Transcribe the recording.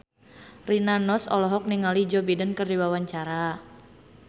Rina Nose olohok ningali Joe Biden keur diwawancara